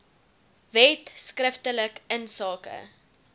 wet skriftelik insake